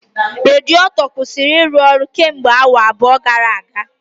Radiato kwụsịrị ịrụ ọrụ kemgbe awa abụọ gara aga